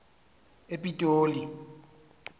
epitoli